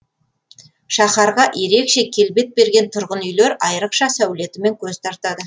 шаһарға ерекше келбет берген тұрғын үйлер айрықша сәулетімен көз тартады